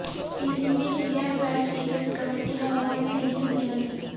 پی C B کی غیر فعال کرکٹ کمیٹی ہوا میں تحلیل ہونے لگی